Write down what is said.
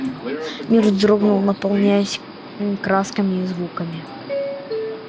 мир вздрогнул наполняясь красками и звуками